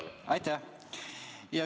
Aitäh!